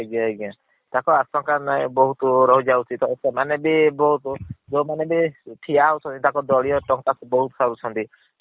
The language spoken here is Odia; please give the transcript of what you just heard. ଆଜ୍ଞା ଆଜ୍ଞା। ତାଙ୍କ ଆଖ ପାଖ ରେ ବହୁତ୍ ରହିଯାଉଛି ତ ମାନେ ବି ଯେଉଁମାନେ ବି ଠିଆ ହେଉଛନ୍ତି ତାଙ୍କ ଦଳୀୟ ଟଙ୍କା ବହୁତ୍ ପାଉଛନ୍ତି।